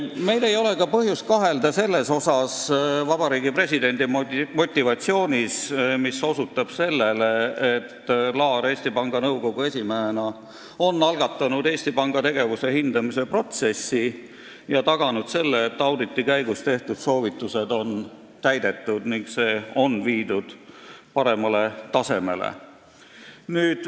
Meil ei ole ka põhjust kahelda Vabariigi Presidendi motivatsioonis, sest osutatakse, et Laar on Eesti Panga Nõukogu esimehena algatanud Eesti Panga tegevuse hindamise protsessi ja taganud selle, et auditi käigus tehtud soovitused on täidetud ning tegevus viidud paremale tasemele.